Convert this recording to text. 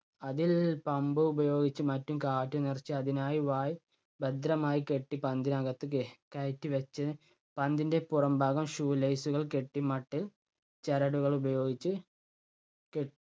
അതിൽ pump ഉപയോഗിച്ചും മറ്റും കാറ്റ് നിറച്ച് അതിനായ് വായ് ഭദ്രമായി കെട്ടി പന്തിനകത്ത് ക~കയറ്റി വച്ച് പന്തിൻ്റെ പുറം ഭാഗം shoe lace കൾ കെട്ടി മട്ടിൽ ചരടുകൾ ഉപയോഗിച്ച് കെ~